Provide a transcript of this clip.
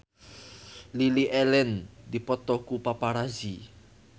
Lily Allen dipoto ku paparazi